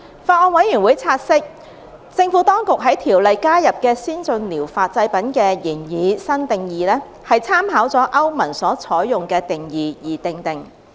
法案委員會察悉，政府當局在《條例》加入的先進療法製品的擬議新定義，參考了歐盟所採用的定義而訂定。